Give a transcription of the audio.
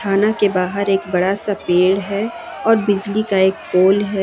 थाना के बाहर एक बड़ा सा पेड़ है और बिजली का एक पोल है।